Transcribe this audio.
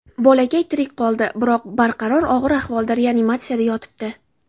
Bolakay tirik qoldi, biroq barqaror og‘ir ahvolda reanimatsiyada yotibdi.